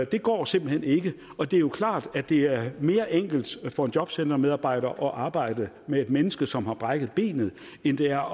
det går simpelt hen ikke og det er jo klart at det er mere enkelt for en jobcentermedarbejder at arbejde med et menneske som har brækket benet end det er